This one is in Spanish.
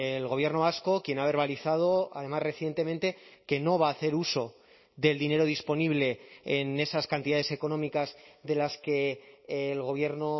el gobierno vasco quien ha verbalizado además recientemente que no va a hacer uso del dinero disponible en esas cantidades económicas de las que el gobierno